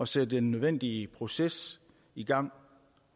sætte den nødvendige proces i gang